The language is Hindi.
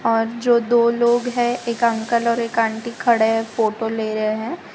और जो दो लोग हैं एक अंकल और एक आंटी खड़े हैं फोटो ले रहे हैं।